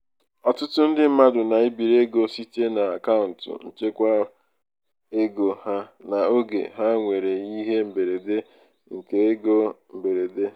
ọtụtụ ndị mmadụ na-ebiri ego site n'akaụntụ nchekwaego ha n'oge ha nwere ihe mberede nke ego. mberede nke ego.